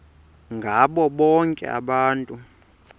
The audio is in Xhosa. ngabo bonke abantu